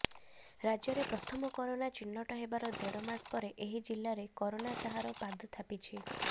ରାଜ୍ୟରେ ପ୍ରଥମ କରୋନା ଚିହ୍ନଟ ହେବାର ଦେଢମାସ ପରେ ଏହି ଜିଲ୍ଲାରେ କରୋନା ତାହାର ପାଦ ଥାପିଛି